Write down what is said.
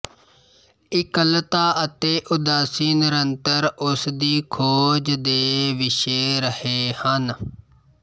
ਇਕੱਲਤਾ ਅਤੇ ਉਦਾਸੀ ਨਿਰੰਤਰ ਉਸਦੀ ਖੋਜ ਦੇ ਵਿਸ਼ੇ ਰਹੇ ਹਨ